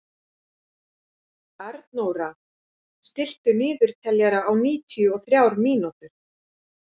Arnóra, stilltu niðurteljara á níutíu og þrjár mínútur.